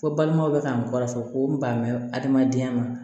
Ko balimaw bɛ ka n kɔrɔfɔ ko n ban bɛ adamadenya ma